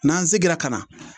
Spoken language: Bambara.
N'an seginna ka na